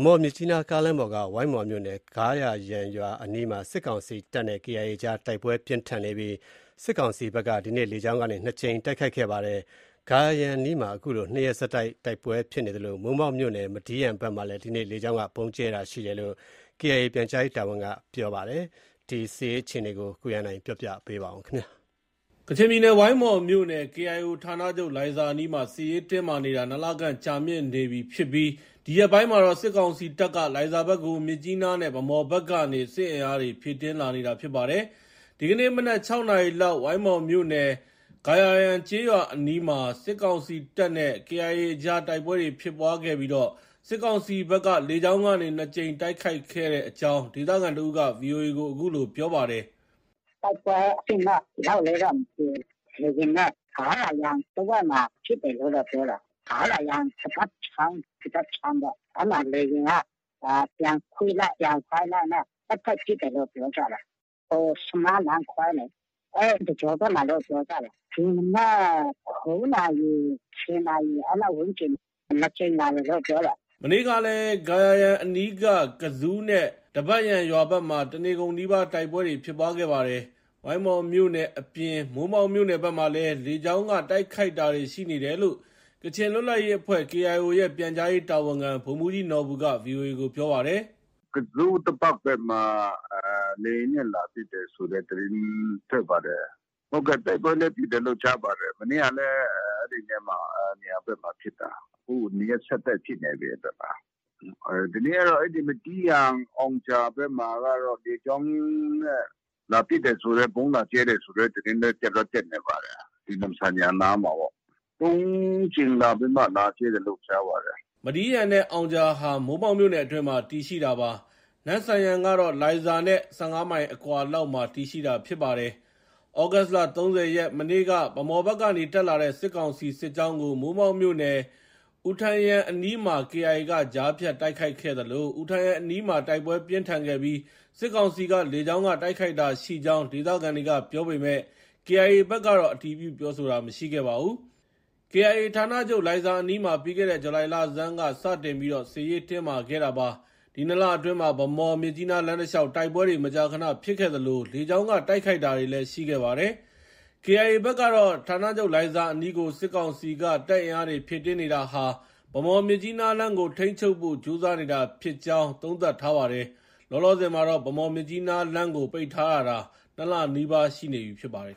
မော်-မြစ်ကြီးနား ကားလမ်းပေါ်က ဝိုင်းမော်မြို့နယ် ဂါးရာယန်ရွာ အနီးမှာ စစ်ကောင်စီတပ်နဲ့ KIA အကြား တိုက်ပွဲ ပြင်းထန်နေပြီး စစ်ကောင်စီဘက်က ဒီကနေ့ လေကြောင်းကနေ ၂ ကြိမ် တိုက်ခိုက်ခဲ့ပါတယ်။ ဂါရာယန်အနီးမှာ ခုလို ၂ ရက်ဆက် တိုက်ပွဲ ဖြစ်ပွားနေသလို မိုးမောက်မြို့နယ် မဒီးယန်ဘက်မှာလည်း ဒီကနေ့ လေကြောင်းက ဗုံးကြဲတာရှိတယ်လို့ KIO ပြန်ကြားရေးတာဝန်ခံက ပြောပါတယ်။ KIA ဌာနချုပ် လိုင်ဇာဒေသအနီးက စစ်ရေးအခြေအနေကို ကိုဇော်ဝင်းလှိုင်က တင်ပြပေးပါမယ်။ ကချင်ပြည်နယ် ဝိုင်းမော်မြို့နယ်၊ KIO ဌာနချုပ် လိုင်ဇာအနီးမှာ စစ်ရေးတင်းမာနေတာ ၂ လခန့် ကြာမြင့်နေပြီ ဖြစ်ပြီး ဒီရက်ပိုင်းမှာတော့ စစ်ကောင်စီတပ်က လိုင်ဇာဘက်ကို မြစ်ကြီးနားနဲ့ ဗန်းမော်ဘက်ကနေ စစ်အင်အားတွေ ဖြည့်တင်းလာနေတာ ဖြစ်ပါတယ်။ ဒီကနေ့ မနက် ၆ နာရီလောက် ဝိုင်းမော်မြို့နယ် ဂါးရာယန်ကျေးရွာအနီးမှာ စစ်ကောင်စီတပ်နဲ့ KIA အကြား တိုက်ပွဲဖြစ်ခဲ့ပြီး စစ်ကောင်စီဘက်က လေကြောင်းကနေ ၂ ကြိမ် တိုက်ခိုက်ခဲ့တဲ့အကြောင်း ဒေသခံတစ်ဦးက ဗွီအိုအေကို အခုလို ပြောပါတယ်။ “တိုက်ပွဲအဆင့်တော့ ဘယ်လောက်လဲတော့ မသိဘူး။ လေယာဉ်နဲ့ ဂါးရာယန်တဝိုက်မှာ ပစ်တယ်လို့တော့ ပြောတယ်။ ဂါးရာယန် ဒဘတ်ချောင်း ဒီဘက် ခြမ်းပေါ့။ အဲဒီမှာ လေယာဉ်က ပြန်ကွေ့လိုက်၊ ပြန်ဝဲလိုက်နဲ့ ဆက်တိုက်ပစ်တယ်လို့ ပြောကြတယ်။ ဟို ဆမားလမ်းခွဲလေ အဲဒီ တကြောဘက်မှာလို့ ပြောကြတယ်။ ဒီမနက် ၉ နာရီ ၁၀ နာရီ အဲလောက် ဝန်းကျင်၊ ၂ ကြိမ်လာတယ်လို့ ပြောတယ်။ ” မနေ့ကလည်း ဂါးရာယန်အနီးက ကဇူး နဲ့ ဒဘတ်ယန်ရွာဘက်မှာ တနေကုန်နီးပါး တိုက်ပွဲဖြစ်ခဲ့ပါတယ်။ ဝိုင်းမော်မြို့နယ် အပြင် မိုးမောက်မြို့နယ်ဘက်မှာလည်း လေကြောင်းက တိုက်ခိုက်တာတွေ ရှိနေတယ်လို့ ကချင်လွတ်လပ်ရေးအဖွဲ့ KIO ရဲ့ ပြန်ကြားရေး တာဝန်ခံ ဗိုလ်မှုးကြီးနော်ဘူက ဗွီအိုအေကို ပြောပါတယ်။ “ ကဇူး၊ ဒဘတ် ဘက်မှာ လေယာဉ်နဲ့ လာပစ်တယ်ဆိုတဲ့ သတင်းထွက်ပါတယ်။ တိုက်ပွဲလည်း ဖြစ်တယ်လို့ ကြားပါတယ်။ မနေ့ကလည်း အဲဒီနေရာဘက်မှာ ဖြစ်တာ။ ခု ၂ ရက် ဆက်တိုက်ဖြစ်နေပြီ အဲဒီဘက်မှာ။ ဒီနေ့ကတော့ မဒီးယန်၊ အောင်ဂျာဘက်မှာကတော့ လေကြောင်းနဲ့ လာပစ်တယ်ဆိုတဲ့၊ ဗုံးလာကြဲတယ်ဆိုတဲ့ သတင်းလည်း တက်တော့ တက်နေပါတယ်။ ဒီနမ့်ဆန်ယန်နားမှာပေါ့။ ၃ ကြိမ်လာပြီးမှ လာကြဲတယ်လို့ ကြားပါတယ်။” မဒီးယန်နဲ့ အောင်ဂျာဟာ မိုးမောက်မြို့နယ်အတွင်းမှာ တည်ရှိတာပါ။ နမ့်ဆန်ယန်ကတော့ လိုင်ဇာနဲ့ ၁၅ မိုင် အကွာလောက်မှာ တည်ရှိတာ ဖြစ်ပါတယ်။ သြဂုတ်လ ၃၀ ရက်၊ မနေ့က ဗန်းမော်ဘက်ကနေ တက်လာတဲ့ စစ်ကောင်စီ စစ်ကြောင်းကို မိုးမောက်မြို့နယ် အူထန်ယန်အနီးမှာ KIA က ကြားဖြတ် တိုက်ခဲ့သလို၊ အူထန်ယန်အနီးမှာ တိုက်ပွဲ ပြင်းထန်ခဲ့ပြီး စစ်ကောင်စီက လေကြောင်းက တိုက်ခိုက်တာရှိကြောင်း ဒေသခံတွေက ပြောပေမဲ့ KIA ဘက်ကတော့ အတည်ပြုပြောဆိုတာ မရှိခဲ့ပါဘူး။ KIA ဌာနချုပ် လိုင်ဇာအနီးမှာ ပြီးခဲ့တဲ့ ဇူလိုင်လဆန်းက စတင်ပြီး စစ်ရေးတင်းမာခဲ့တာပါ။ ဒီ ၂ လအတွင်းမှာ ဗန်းမော်-မြစ်ကြီးနား လမ်းတလျှာက် တိုက်ပွဲတွေ မကြာခနဖြစ်ခဲ့သလို လေကြောင်းက တိုက်ခိုက်တာတွေလည်း ရှိခဲ့ပါတယ်။ KIA ဘက်ကတော့ ဌာနချုပ်လိုင်ဇာအနီးကို စစ်ကောင်စီက တပ်အင်အားတွေ ဖြည့်တင်းနေတာဟာ ဗန်းမော်-မြစ်ကြီးနားလမ်းကို ထိန်းချုပ်ဖို့ ကြိုးစားနေတာဖြစ်ကြောင်း သုံးသပ်ထားပါတယ်။ လောလောဆယ်မှာတော့ ဗန်းမော်-မြစ်ကြီးနားလမ်းကို ပိတ်ထားရတာ ၂လနီးပါးရှိနေပြီ ဖြစ်ပါတယ်